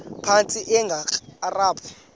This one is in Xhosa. phantsi enge lrabi